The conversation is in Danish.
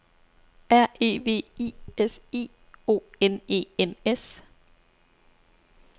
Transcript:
R E V I S I O N E N S